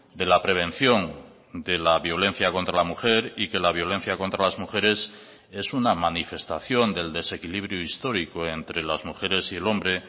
de la prevención de la violencia contra la mujer y que la violencia contra las mujeres es una manifestación del desequilibrio histórico entre las mujeres y el hombre